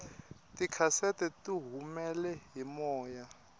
tikhasete tihumele hi moya